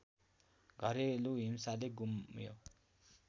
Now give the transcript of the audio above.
घरेलु हिंसाले गुम्यो